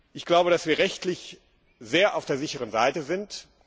Ich glaube, dass wir rechtlich sehr auf der sicheren Seite sind